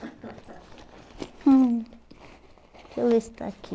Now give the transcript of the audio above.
hum, Deixa eu ver se está aqui.